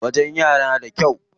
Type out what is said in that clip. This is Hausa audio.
Wajen yana da kyau.